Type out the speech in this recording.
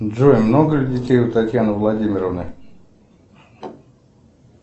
джой много ли детей у татьяны владимировны